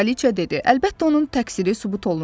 Kraliçə dedi: Əlbəttə, onun təqsiri sübut olundu.